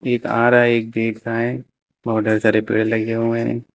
एक आ रहा है एक गेट पर है और ढेर सारे पेड़ लगे हुए हैं।